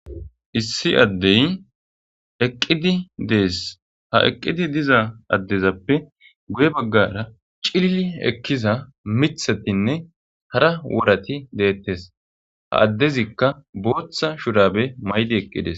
Issi addey eqqidi dees ha eqqidi diza addezappe guye baggara cilili ekkiza mithatinne hara worati deettes ha addezikka booththa shurabe maydi eqqidees.